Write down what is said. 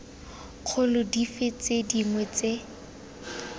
kgolo dife tse dingwe tse